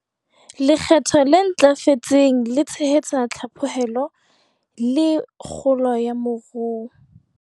Lekgetho le ntlafetseng le tshehetsa tlhaphohelo le kgolo ya moru.